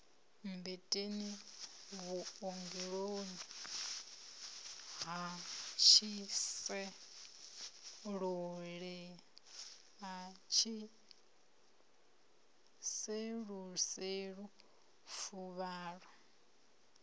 mmbeteni vhuongeloni ha tshiseluselu fuvhalo